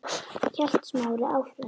hélt Smári áfram.